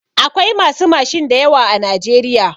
Akwai masu mashin da yawa a najeriya.